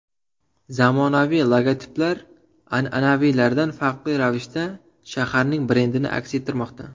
Zamonaviy logotiplar an’anaviylaridan farqli ravishda shaharning brendini aks ettirmoqda.